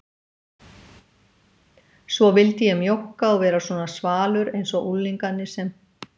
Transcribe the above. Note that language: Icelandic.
Svo vildi ég mjókka og vera svona svalur einsog unglingarnir sem